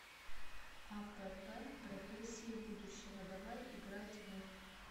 апп профессии будущего давай играть в